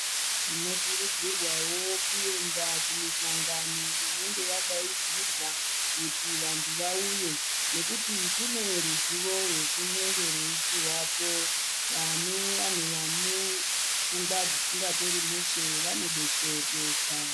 Tinokurudzirwawo kuenda kumihlangano inenge yadaidzirwa kuti vantu vauye ,nekuti kune ruzivo rwunenge rweipuhwapo. Vane vanhu vane pfungwa dzisingatori mushe vanodetsereka.